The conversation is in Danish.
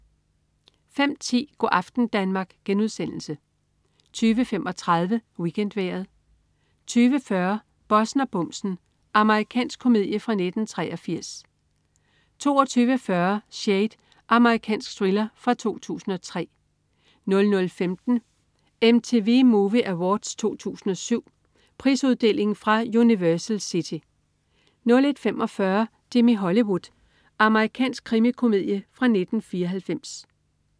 05.10 Go' aften Danmark* 20.35 WeekendVejret 20.40 Bossen og bumsen. Amerikansk komedie fra 1983 22.40 Shade. Amerikansk thriller fra 2003 00.15 MTV Movie Awards 2007. Prisuddeling fra Universal City 01.45 Jimmy Hollywood. Amerikansk krimikomedie fra 1994